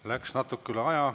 Läks natuke üle aja.